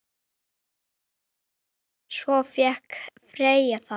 Svo fékk Freyja það.